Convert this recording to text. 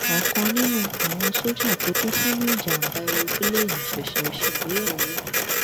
ọkan nínú àwọn sójà tó kú sínú ìjàgbá èròǹpilẹẹni ṣẹṣẹ ṣègbéyàwó ni